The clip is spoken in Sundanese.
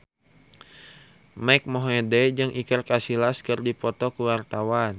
Mike Mohede jeung Iker Casillas keur dipoto ku wartawan